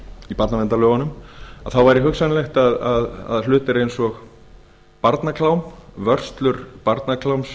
í barnaverndarlögunum væri hugsanlegt að hlutir eins og barnaklám vörslur barnakláms